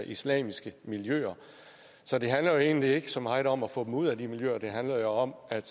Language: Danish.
islamiske miljøer så det handler jo egentlig ikke så meget om at få dem ud af de miljøer det handler jo om at